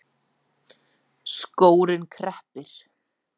Skórinn kreppir